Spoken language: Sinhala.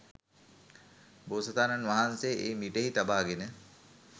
බෝසතාණන් වහන්සේ එය මිටෙහි තබාගෙන